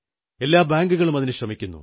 എല്ലാ ബാങ്കുകളും അതിനു ശ്രമിക്കുന്നു